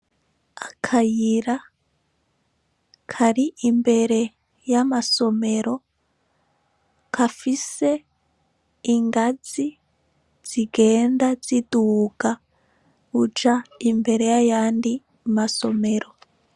Akayira kari imbere y'amasomero kafise ingazi zigenda ziduga uja imbere y'ayandi masomero.